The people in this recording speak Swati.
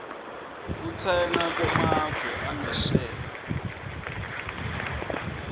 kutsenga kumave angesheya